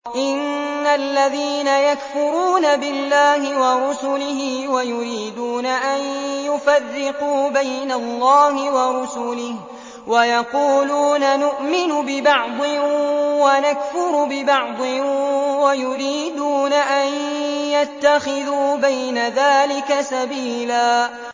إِنَّ الَّذِينَ يَكْفُرُونَ بِاللَّهِ وَرُسُلِهِ وَيُرِيدُونَ أَن يُفَرِّقُوا بَيْنَ اللَّهِ وَرُسُلِهِ وَيَقُولُونَ نُؤْمِنُ بِبَعْضٍ وَنَكْفُرُ بِبَعْضٍ وَيُرِيدُونَ أَن يَتَّخِذُوا بَيْنَ ذَٰلِكَ سَبِيلًا